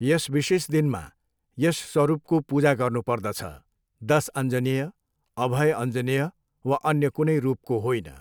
यस विशेष दिनमा यस स्वरूपको पूजा गर्नुपर्दछ, दस अञ्जनेय, अभय अञ्जनेय वा अन्य कुनै रूपको होइन।